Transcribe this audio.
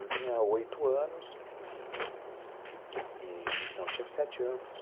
Eu tinha oito anos, não, eu tinha sete anos.